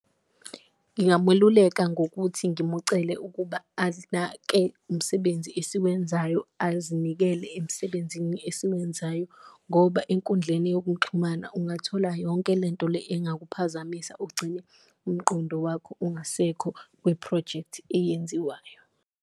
Ngingamululeka ngokuthi ngimucele ukuba umsebenzi esiwenzayo, azinikele emsebenzini esiwenzayo ngoba enkundleni yokuxhumana ungathola yonke lento le engakuphazamisa, ugcine umqondo wakho ungasekho kwi-phrojekthi eyenziwayo.